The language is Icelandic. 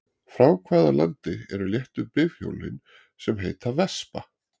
Frá hvaða landi eru léttu bifhjólin sem heita Vespa?